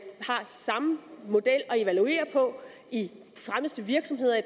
har samme model at evaluere på i de fremmeste virksomheder i